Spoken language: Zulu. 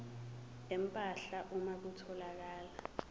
empahla uma kutholakala